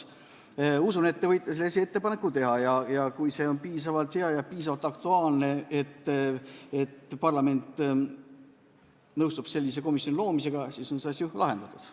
Ma usun, et te võite sellise ettepaneku teha ning kui see on piisavalt hea ja piisavalt aktuaalne, nii et parlament nõustub sellise komisjoni loomisega, siis on see asi ju lahendatud.